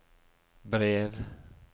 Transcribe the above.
brev